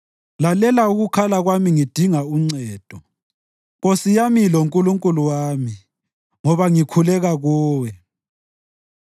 Lalela ukukhala kwami ngidinga uncedo, Nkosi yami loNkulunkulu wami, ngoba ngikhuleka kuwe.